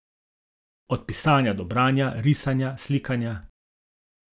Od pisanja do branja, risanja, slikanja ...